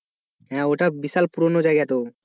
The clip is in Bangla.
হ্যাঁ ওইটা বিশাল পুরনো জায়গা তো